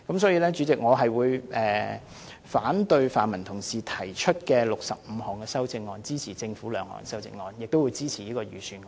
因此，主席，我會反對泛民同事提出的65項修正案，支持政府2項修正案，亦會支持預算案。